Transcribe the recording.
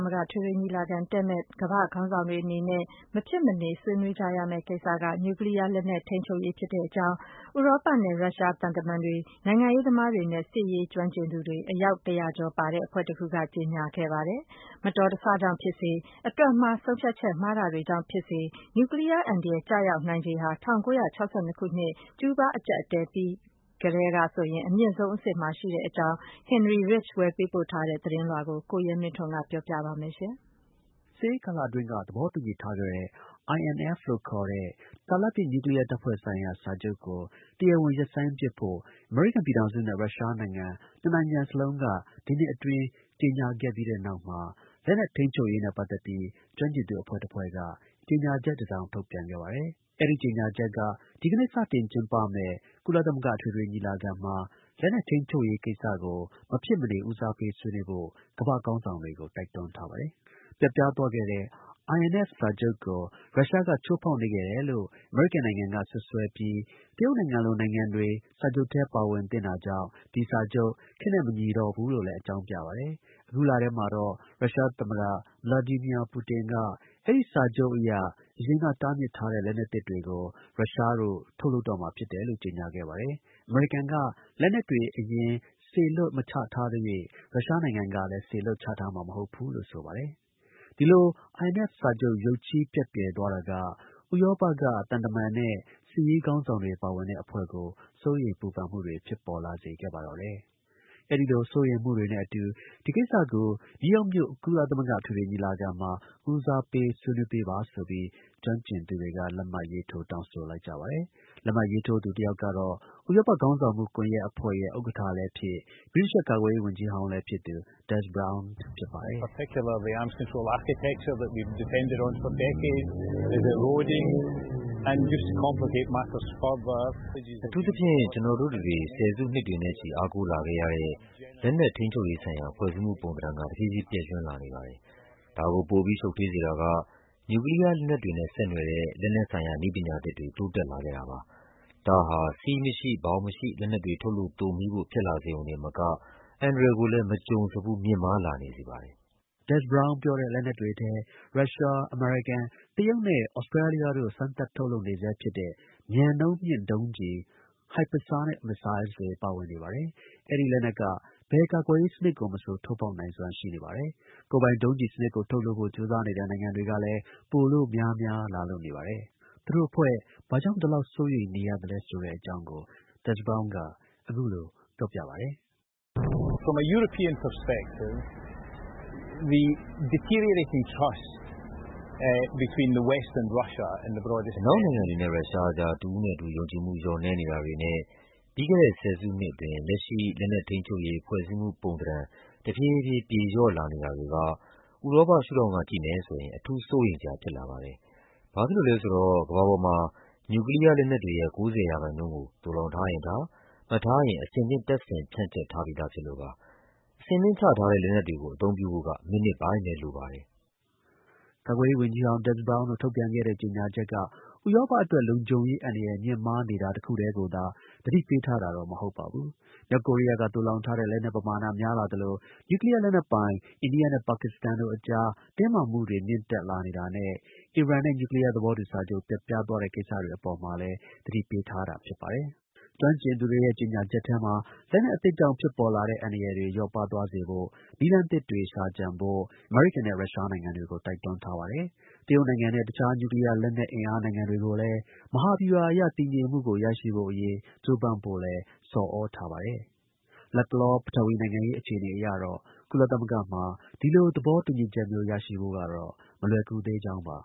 မဂ္ဂ အထွေထွေ ညီလာခံကို တက်ရောက်မယ့် ကမ္ဘာ့ ခေါင်းဆောင်တွေ အနေနဲ့ မဖြစ်မနေ ဦးစားပေး ဆွေးနွေးရမယ့် ကိစ္စတစ်ကတော့ နျူးကလီးယား လက်နက်ထိန်းချုပ်ရေး ကိစ္စဖြစ်ပါတယ်လို့ ဥရောပနဲ့ ရုရှားက သံတမန်တွေ၊ နိုင်ငံရေးသမားတွေနဲ့ စစ်ရေး ကျွမ်းကျင်သူတွေ အယောက် ၁၀၀ ကျော် ပါဝင်တဲ့ အဖွဲ့တစ်ခုရဲ့ ကြေညာချက်မှာ ပါရှိခဲ့ပါတယ်။ မတော်တဆ ကြောင့်ပဲဖြစ်ဖြစ်၊ အတွက်မှား တာနဲ့ ဆုံးဖြတ်ချက် မှားတာတွေကြောင့်ပဲဖြစ်ဖြစ် နျူးကလီးယား အန္တရာယ်ကျရောက်နိုင်ခြေဟာ ၁၉၆၂ ခုနှစ် ကျူးဘား အကျပ်အတည်းအပြီး အမြင့်ဆုံး အဆင့်မှာ ရှိနေကြောင်း ဗီအိုအေ သတင်းထောက် Henry Ridgell သတင်းပေးပို့ထားပါတယ်။ အပြည့်အစုံကို ကိုရဲမင်းထွန်းက ပြောပြပါမယ်။ စစ်အေးကာလအတွင်း သဘောတူညီထားခဲ့တဲ့ INF လို့ခေါ်တဲ့ တာလတ်ပစ် နျူးကလီးယား တပ်ဖွဲ့ ဆိုင်ရာ စာချုပ်ကို တရားဝင် ရပ်ဆိုင်းပစ်ဖို့ အမေရိကန် ပြည်ထောင်စုနဲ့ ရုရှားနိုင်ငံ နှစ်နိုင်ငံစလုံးက ဒီနှစ်အတွင်း ကြေညာပြီးတဲ့နောက် လက်နက် ထိန်းချုပ်ရေးနဲ့ပတ်သက်ပြီး ကျွမ်းကျင်သူအဖွဲ့ တစ်ဖွဲ့က ကြေညာချက်တစ်စောင် ထုတ်ပြန်ခဲ့ပါတယ်။ အဲဒီ ကြေညာချက်မှာ ဒီကနေ့စတင်ကျင်းပမယ့် ကုလသမဂ္ဂ အထွေထွေ ညီလာခံမှာ လက်နက် ထိန်းချုပ်ရေး ကိစ္စကို မဖြစ်မနေ ဦးစားပေး ဆွေးနွေးဖို့ ကမ္ဘာ့ ခေါင်းဆောင်တွေကို တိုက်တွန်းထားပါတယ်။ ပျက်ပြား သွားခဲ့တဲ့ INF စာချုပ်ကို ရုရှားက ချိုးဖောက်နေခဲ့တယ်လို့ အမေရိကန်နိုင်ငံက စွပ်စွဲပြီး တရုတ်နိုင်ငံလို နိုင်ငံတွေ စာချုပ်ထဲ ပါဝင်သင့်တာကြောင့် ဒီစာချုပ် ခေတ်နဲ့ မညီတော့ဘူးလို့လည်း အကြောင်းပြပါတယ်။ အခုလထဲမှာတော့ ရုရှား သမ္မတ ပူတင်က အဲဒီ စာချုပ်အရ အရင်က တားမြစ်ထားတဲ့ လက်နက်သစ်တွေကို ရုရှားတို့ ထုတ်လုပ်တော့မှာ ဖြစ်တယ်လို့ ကြေညာခဲ့ပါတယ်။ အမေရိကန်က လက်နက်တွေ အရင် စေလွှတ် မချထားသရွေ့ ရုရှားက စေလွှတ်ချထားမှာ မဟုတ်ဘူးလို့လည်း ဆိုပါတယ်။ ဒီလို INF စာချုပ် ရုတ်ချည်း ပျက်ပြယ်သွားတာက ဥရောပက သံတမန်နဲ့ စစ်ရေး ခေါင်းဆောင်တွေ ပါဝင်တဲ့ အဖွဲ့ကို စိုးရိမ် ပူပန်မှုတွေ ဖြစ်ပေါ်လာစေ ခဲ့ပါတော့တယ်။ အဲဒီလို စိုးရမ်မှုတွေနဲ့အတူ ဒီကိစ္စကို နယူးယောက်မြို့မှာ ကုလသမဂ္ဂ အထွေထွေ ညီလာခံမှာ ဦးစားပေး ဆွေးနွေးပေးပါဆိုပြီး ကျွမ်းကျင်သူ တွေက လက်မှတ် ရေးထိုး တောင်းဆိုလိုက်ကြပါတယ်။ လက်မှတ်ရေးထိုးသူတစ်ယောက်ကတော့ ဥရောပ ခေါင်းဆောင်မှု ကွန်ယက် အဖွဲ့ရဲ့ ဥက္ကဌလည်းဖြစ်၊ ဗြိတိသျှ ကာကွယ်ရေး ဝန်ကြီးဟောင်းလည်းဖြစ်သူ Des Browne ဖြစ်ပါတယ်။ “အထူးသဖြင့် ကျွန်တော်တို့တစ်တွေ ဆယ်စုနှစ်တွေနဲ့ချီ အားကိုးလာခဲ့ရတဲ့ လက်နက် ထိန်းချုပ်ရေးဆိုင်ရာ ဖွဲ့စည်းမှု ပုံသဏ္ဍာန်က တစ်ဖြည်းဖြည်း ပျက်ယွင်းလာနေတယ်။ ဒါကို ပိုပြီး ရှုပ်ထွေးစေတာက နျူးကလီးယားလက်နက်တွေနဲ့ ဆက်နွယ်တဲ့ လက်နက်ဆိုင်ရာ နည်းပညာသစ်တွေ တိုးတက်လာခဲ့တာပဲ။ ဒါဟာ စည်းမရှိ ဘောင်မရှိ လက်နက်တွေ ထုတ်လုပ် သိုမှီးဖို့ ဖြစ်လာစေရုံတင်မကဘူး အန္တရာယ်ကိုလည်း မကြုံစဖူး မြင့်မားလာနေစေပါတယ်။ Des Browne ပြောတဲ့လက်နက်တွေထဲ ရုရှား၊ အမေရိကန်၊ တရုတ်နဲ့ သြစတြေးလျတို့ စမ်းသပ် ထုတ်လုပ်ဆဲဖြစ်တဲ့ မြန်နှုန်းမြင့် ဒုံးကျည် hypersonic missiles တွေ ပါဝင်နေပါတယ်။ အဲဒီ လက်နက်က ဘယ် ကာကွယ်ရေး စနစ်ကို မဆို ထိုးဖောက်နိုင်စွမ်း ရှိနေပါတယ်။ ကိုယ်ပိုင် ဒုံးကျည် စနစ်ကို ထုတ်လုပ်ဖို့ ကြိုးစားနေတဲ့ နိုင်ငံတွေကလည်း ပိုလို့ များများ လာလို့နေပါတယ်။ “အနောက်နိုင်ငံတွေနဲ့ ရုရှား အကြား တစ်ဦးနဲ့တစ်ဦး ယုံကြည်မှု လျော့နည်းနေတာတွေနဲ့ ပြီးခဲ့တဲ့ ၁၀ စုနှစ်အတွင်း လက်ရှိ လက်နက်ထိန်းချုပ် ရေး ဖွဲ့စည်းပုံသဏ္ဍာန် တစ်ဖြည်းဖြည်း ပြေလျော့ လာနေတာတွေက ဥရောပ ရှု့ထောင်ကကြည့်မယ်ဆိုရင် အထူး စိုးရမ်စရာ ဖြစ်လာခဲ့ ပါတယ်။ ဘာဖြစ်လို့ လဲဆိုတော့ ကမ္ဘာပေါ်မှာ နျူးကလီးယား လက်နက်တွေရဲ့ ၉၀ ရာခိုင်နှုန်းကို သိုလှောင်ထားရင်ထား၊ မထားရင် အဆင်သင့် တပ်ဆင် ဖြန့်ကျက်ထားပြီးဖြစ်လို့ပါ။ အဆင်သင့် ချထားတဲ့ လက်နက်တွေကို အသုံးပြုဖို့က မိနစ်ပိုင်းပဲ လိုပါတယ်။” ကာကွယ်ရေး ဝန်ကြီး ဟောင်း Des Browne တို့ ထုတ်ပြန်ခဲ့တဲ့ကြေညာချက်က ဥရောပအတွက် လုံခြုံရေး အန္တရာယ် မြင့်မားနေတာ တစ်ခုတည်းကို သတိပေးထားတာ မဟုတ်ပါဘူး။ မြောက်ကိုရီးယားက သိုလှောင်ထားတဲ့ လက်နက် ပမာဏ များလာသလို နျူကလီးယား လက်နက်ပိုင် အိန္ဒိယနဲ့ ပါကစ္စတန်တို့အကြား တင်းမားမှုတွေ မြင့်တက်နေတာနဲ့ အီရန်နဲ့ နျူးကလီးယာ သဘောတူစာချုပ် ပျက်ပြား သွားတဲ့ ကိစ္စတွေ အပေါ်မှာလည်း သတိပေးထားတာပါ။ ကျွမ်းကျင်သူတွေရဲ့ ကြေညာချက်ထဲမှာ လက်နက်အသစ်ကြောင့် ဖြစ်ပေါ်လာတဲ့အန္တရာယ်တွေ လျော့ပါးသွားစေဖို့နည်းလမ်းသစ်တွေ ရှာကြံဖို့ အမေရိကန်နဲ့ ရုရှားနိုင်ငံတွေကို တိုက်တွန်း ထားပါတယ်။ တရုတ်နိုင်ငံနဲ့ တစ်ခြား နျူးကလီးယား လက်နက် အင်အား နိုင်ငံတွေကိုလည်း မဟာဗျူဟာအရ တည်ငြိမ်မှုကို ရရှိဖို့အရေး ကြိုးပမ်းဖု့ိလည်း ဆော်သြထားပါတယ်။ လတ်တလော ပထဝီနိုင်ငံရေး အခြေအနေအရတော့ ကုလသမဂ္ဂမှာ ဒီလို သဘောတူညီချက်မျိုး ရဖို့ကတော့ မလွယ်ကူသေးကြောင်းပါ